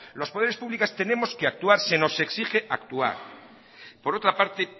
los poderes públicos tenemos que actuar se nos exige actuar por otra parte